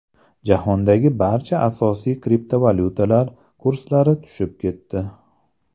Jahondagi barcha asosiy kriptovalyutalar kurslari tushib ketdi.